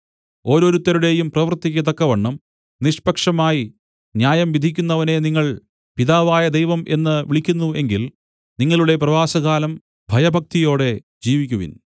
ഓരോരുത്തരുടെയും പ്രവൃത്തിക്ക് തക്കവണ്ണം നിഷ‌്പക്ഷമായി ന്യായം വിധിക്കുന്നവനെ നിങ്ങൾ പിതാവായ ദൈവം എന്ന് വിളിക്കുന്നു എങ്കിൽ നിങ്ങളുടെ പ്രവാസകാലം ഭയഭക്തിയോടെ ജീവിക്കുവിൻ